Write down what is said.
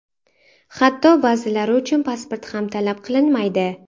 Hatto ba’zilari uchun pasport ham talab qilinmaydi.